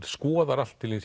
skoðar allt til hins